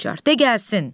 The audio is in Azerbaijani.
De gəlsin.